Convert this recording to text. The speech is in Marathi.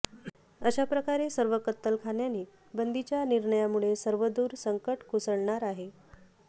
अशाप्रकारे सर्व कत्तलखाने बंदीच्या निर्णयामुळे सर्वदूर संकट कोसळणार आहे